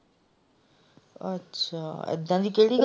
ਅੱਛਾ ਇਹਦਾ ਦੀ ਕਿਹੜੀ ਗੱਲ।